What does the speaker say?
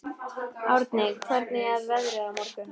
Árni, hvernig er veðrið á morgun?